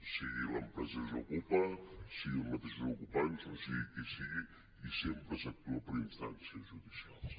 sigui l’empresa desokupa siguin els mateixos ocupants o sigui qui sigui i sempre s’actua per instàncies judicials